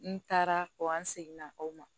N taara ko an seginna o ma